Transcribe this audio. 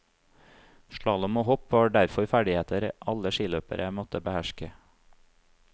Slalåm og hopp var derfor ferdigheter alle skiløpere måtte beherske.